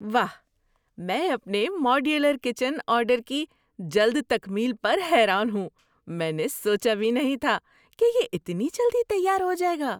واہ! میں اپنے ماڈیولر کچن آرڈر کی جلد تکمیل پر حیران ہوں۔ میں نے سوچا بھی نہیں تھا کہ یہ اتنی جلدی تیار ہو جائے گا!